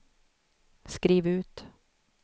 skriv ut